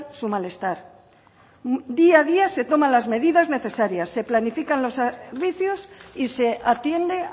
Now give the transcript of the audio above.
su malestar día a día se toma las medidas necesarias se planifican los servicios y se atiende